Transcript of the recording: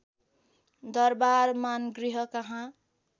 दरबार मानगृह कहाँ